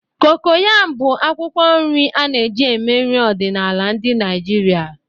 Cocoyam bụ akwụkwọ nri a na-eji eme nri ọdịnala ndị Naijiria.